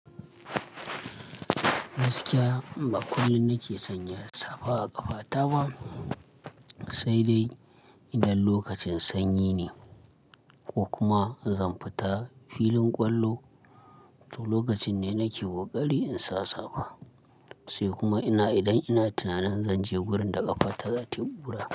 Gaskiya bakullum nake sanya safa a ƙafa taba, sai dai idan lokacin sanyi ne ko kuma zan fita filin ƙwallo to lokacin ne nake koƙari in sa safa. Sai kuma ina idan ina tunanin zanje wurin da ƙafa ta zata kura.